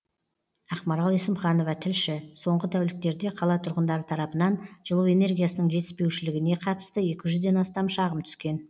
ақмарал есімханова тілші соңғы тәуліктерде қала тұрғындары тарапынан жылу энергиясының жетіспеушілігіне қатысты екі жүзден астам шағым түскен